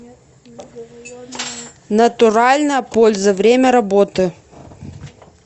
натуральная польза время работы